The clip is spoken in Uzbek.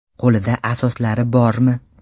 Qo‘lida asoslari bormi?